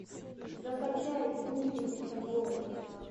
закачай гусеница боро